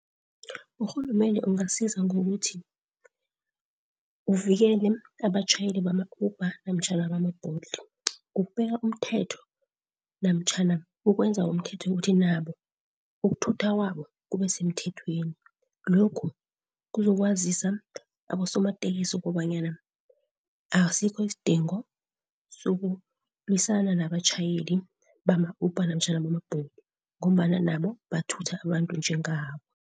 Urhulumende angasiza ngokuthi uvikele abatjhayeli bama-Uber namtjhana bama-Bolt. Ngokubeka umthetho namtjhana ukwenza umthetho ukuthi nabo ukuthutha kwabo kubesemthethweni. Lokhu kuzokwazisa abosomatekisi kobanyana asikho isidingo sokulwisana nabatjhayeli bama-Uber namtjhana bama-Bolt ngombana nabo bathutha abantu njengabo.